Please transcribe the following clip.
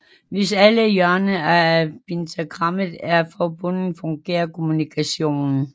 Hvis alle hjørnerne af pentagrammet er forbundet fungerer kommunikationen